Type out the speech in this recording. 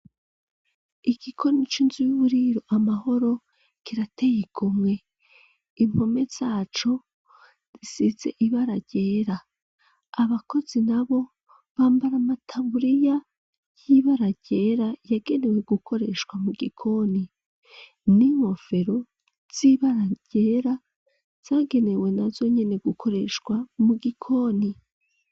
Igikoni c'inzu y'uburiro "Amahoro"kirateye igomwe. Impome zaco, zisitse ibara ryera. Abakozi n'abo bambara amataburiya y'ibara ryera, yagenewe gukoreshwa mu gikoni. N'inkofero z'ibara ryera, zagenewe nazo nyene gukoreshwa mu gikoni.